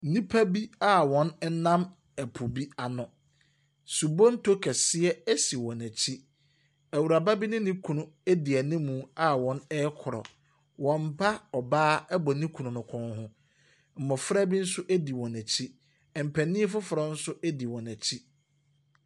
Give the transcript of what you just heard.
Nnipa bi a wɔnam po bi ano. Subonto kɛseɛ si wɔn akyi. Awuraba bi ne ne kunu di anim a wɔrekorɔ. Wɔn ba ɔbaa bɔ ne kunu no kɔn ho. Mmɔfra bi nso di wɔn akyi. Mpanin afoforɔ no di wɔn akyi.